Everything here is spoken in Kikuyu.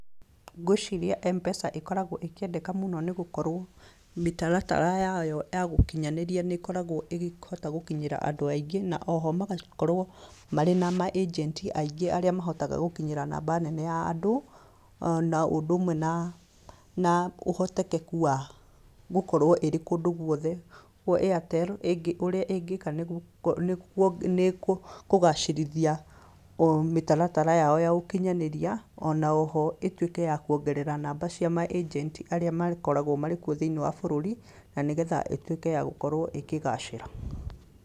Ngwĩciria M-PESA ĩkoragwo ĩkĩendeka mũno nĩ gũkorwo mĩtaratara yayo ya gũkinyinĩria nĩ ĩkoragwo ĩgĩhota gũkinyĩra andũ aingĩ, na o ho magakorwo marĩ na maanjenti aingĩ aria mahotaga gũkinyĩra namba nene ya andũ, na ũndũ ũmwe na ũhotekeku wa gũkorwo ĩrĩ kũndũ gũothe. Kwoguo Airtel, ũrĩa ĩngĩĩka nĩ nĩ nĩ kũgacĩrithia mĩtaratara yao ya ũkinyanĩria. O na o ho, ituĩke ya kũongerera namba cia maanjenti arĩa makoragwo marĩ kuo thĩinĩ wa bũrũri na nigetha ĩtuĩke ya gũkorwo ĩkĩgacĩra.